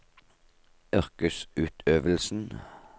yrkesutøvelsen